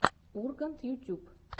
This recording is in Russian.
ургант ютьюб